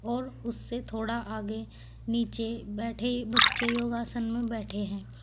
और उससे थोड़ा आगे नीचे बैठे बच्चे योगासन में बैठे हैं।